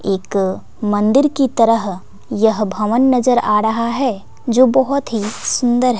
एक मंदिर की तरह यह भवन नजर आ रहा है जो बहोत ही सुंदर--